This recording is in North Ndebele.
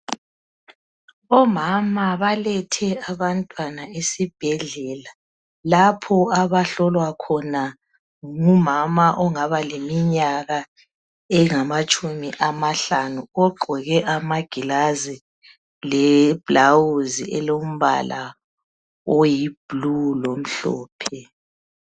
Omama balethe abantwana esibhedlela lapho abahlolwa khona ngumama ongaba leminyaka engamatshumi amahlanu ogqoke amagilazi leblawuzi elombala oyiblue lomhlophe.